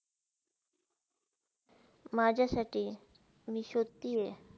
माझ्यासाठी मी शोधती हे.